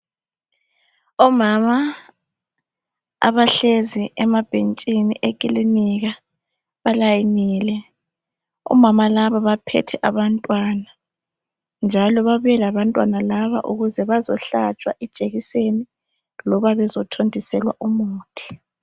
Omama abahlezi emabhentshini ekilinika balayinile. Omama laba baphethe abantwana, njalo babuye labantwana laba ukuze bazohlatshwa ijekiseni loba bezothontiselwa umuthi.